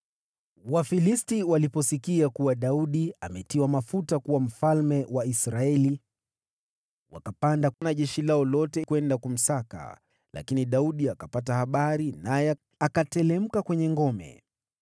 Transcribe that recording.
Wafilisti waliposikia kuwa Daudi ametiwa mafuta kuwa mfalme wa Israeli, wakapanda na jeshi lao lote kwenda kumsaka, lakini Daudi akapata habari hizo, naye akateremka kwenye ngome.